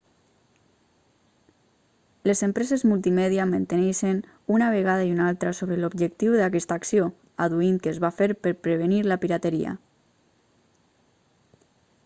les empreses multimèdia menteixen una vegada i una altra sobre l'objectiu d'aquesta acció adduint que es fa per prevenir la pirateria